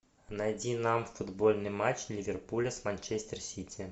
найди нам футбольный матч ливерпуля с манчестер сити